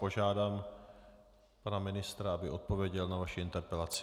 Požádám pana ministra, aby odpověděl na vaši interpelaci.